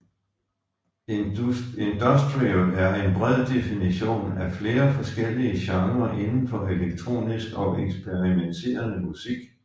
Industrial er en bred definition af flere forskellige genrer inden for elektronisk og eksperimenterende musik